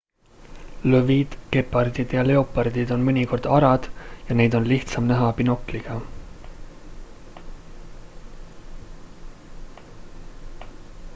lõvid gepardid ja leopardid on mõnikord arad ja neid on lihtsam näha binokliga